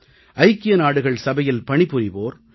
ஐக்கிய நாடுகள் சபையில் பணி புரிவோர் ஐ